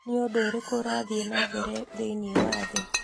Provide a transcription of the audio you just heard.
nĩ ũndũ ũrĩkũ ũrathiĩ na mbere thĩinĩ wa thĩ?